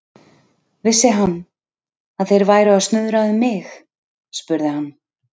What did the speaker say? Vissi hann, að þeir væru að snuðra um mig? spurði hann.